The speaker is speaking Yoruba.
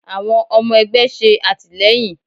Àwọn ọmọ ẹgbẹ́ ṣe àtìlẹ́yìn.